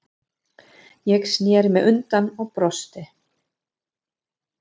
Ég sneri mér undan og brosti.